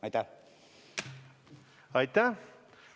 Aitäh!